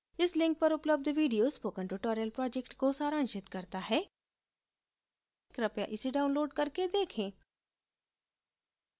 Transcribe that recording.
इस link पर उपलब्ध video spoken tutorial project को सारांशित करता है कृपया इसे download करके देखें